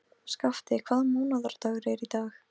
Skafti, hvaða mánaðardagur er í dag?